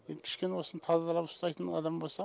енді кішкене осыны тазалап ұстайтын адам болса